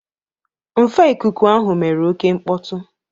Nfe ikuku ahụ mere oke mkpọtụ.